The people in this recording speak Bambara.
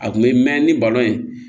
A kun bɛ mɛn ni